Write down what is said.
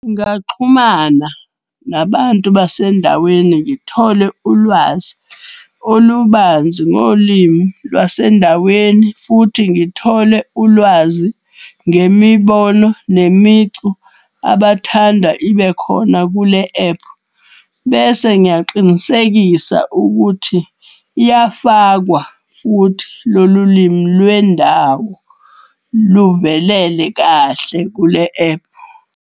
Ngaxhumana nabantu basendaweni ngithole ulwazi olubanzi ngolimi lwasendaweni. Futhi ngithole ulwazi ngemibono, nemicu abathanda ibekhona kule ephu. Bese ngiyaqinisekisa ukuthi iyafakwa futhi lolu limi lwendawo luvelele kahle kule ephu.